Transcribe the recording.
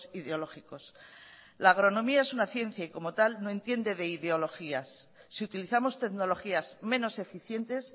ideológicos la agronomía es una ciencia y como tal no entiende de ideologías si utilizamos tecnologías menos eficientes